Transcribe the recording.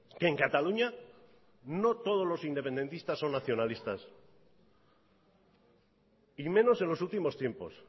que en cataluña no todos los independentistas son nacionalistas y menos en los últimos tiempos